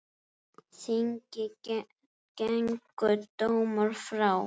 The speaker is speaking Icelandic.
Þingi gengu dómar frá.